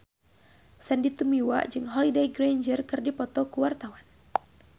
Sandy Tumiwa jeung Holliday Grainger keur dipoto ku wartawan